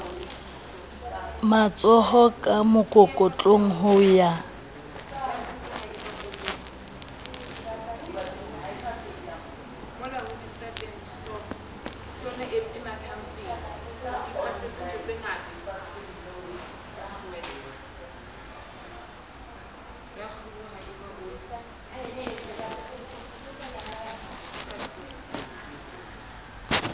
matshoho ka mokokotlong ho ya